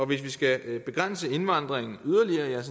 vi skal begrænse indvandringen yderligere jeg er